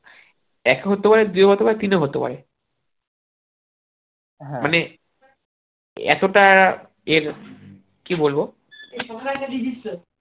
এক হতে পারে দুয়ে হতে পারে তিনে হতে পারে এতটা এর কি বলবো